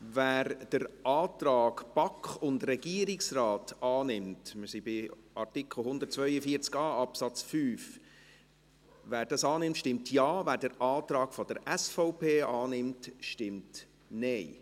Wer den Antrag BaK und Regierungsrat annimmt – wir sind bei Artikel 142a Absatz 5 BauG –, stimmt Ja, wer den Antrag SVP annimmt, stimmt Nein.